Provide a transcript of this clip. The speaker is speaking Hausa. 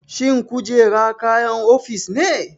Shin kujera kayan ofis ne?